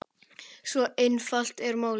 Svo einfalt er málið.